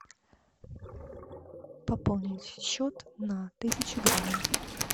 пополнить счет на тысячу гривен